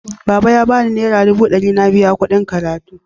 Baba ya bani nera dubu ɗari na biya kuɗin karatuna.